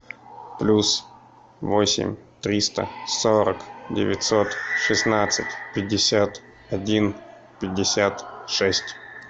плюс восемь триста сорок девятьсот шестнадцать пятьдесят один пятьдесят шесть